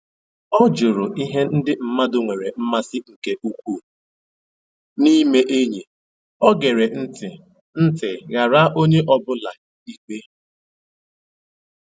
Ọ jụrụ ihe ndị mmadụ nwere mmasị nke ukwuu na-ime enyi, o gere ntị ntị ghara onye ọ bụla ikpe